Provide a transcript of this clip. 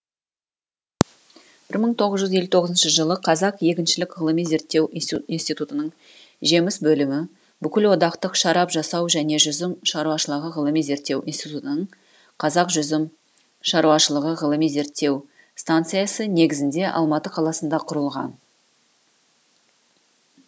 бір мың тоғыз жүз елу тоғызыншы жылы қазақ егіншілік ғылыми зерттеу институтының жеміс бөлімі бүкілодақтық шарап жасау және жүзім шаруашылығы ғылыми зерттеу институтының қазақ жүзім шаруашылығы ғылыми зерттеу станциясы негізінде алматы қаласында құрылған